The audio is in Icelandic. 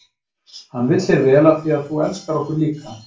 Hann vill þér vel af því að þú elskar okkur líka.